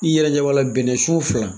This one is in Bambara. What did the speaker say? I yɛrɛ ɲɛ b'a bɛnɛsun fila.